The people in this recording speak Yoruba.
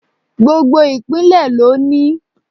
Gbogbo ìpínlẹ̀ ló ní